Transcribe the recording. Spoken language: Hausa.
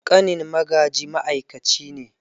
Ƙanin Magaji ma’aikaci ne.